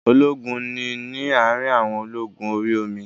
Ológun ni ní àrin àwọn ológun orí omi